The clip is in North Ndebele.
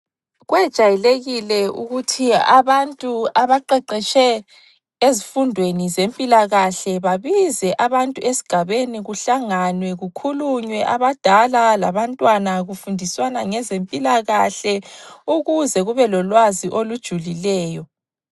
Kwejayelekile ukuthi abantu abaqeqetshe ezifundweni zempilakahle babize abantu esigabeni kuhlanganwe kukhulunywe abadala labantwana kufundiswana ngezempilakahle ukuze kube lolwazi olujulileyo.